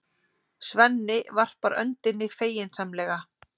Svenni varpar öndinni feginsamlega.